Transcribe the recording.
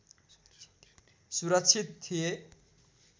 सुरक्षित थिए